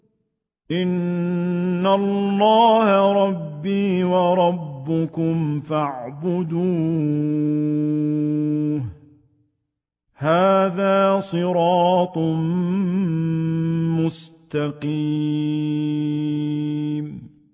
إِنَّ اللَّهَ رَبِّي وَرَبُّكُمْ فَاعْبُدُوهُ ۗ هَٰذَا صِرَاطٌ مُّسْتَقِيمٌ